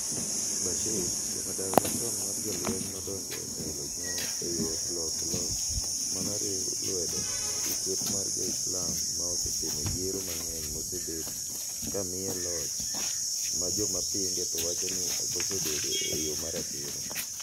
Bashir, jamadar machon mar jolweny nodonjo etelo eyor loko loch manoriuw lwedo gi kweth mar jo-Islam ma osetimo yiero mang'eny mosebedo kamiye loch majomapinge to wachoni okosebedo eyo maratiro.